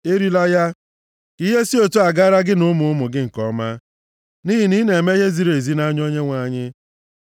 Erila ya, ka ihe si otu a gaara gị na ụmụ ụmụ gị nke ọma, nʼihi na ị na-eme ihe ziri ezi nʼanya Onyenwe anyị.